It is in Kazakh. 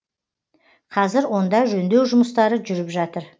қазір онда жөндеу жұмыстары жүріп жатыр